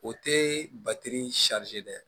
O tɛ batiri dɛ